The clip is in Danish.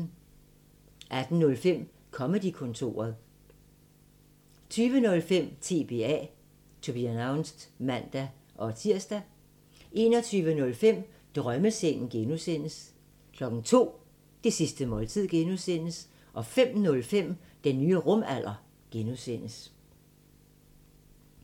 18:05: Comedy-kontoret 20:05: TBA (man-tir) 21:05: Drømmesengen (G) 02:00: Det sidste måltid (G) 05:05: Den nye rumalder (G)